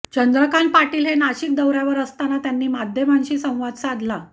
चंद्रकांत पाटील हे नाशिक दौऱ्यावर असताना त्यांनी माध्यमांशी संवाद साधला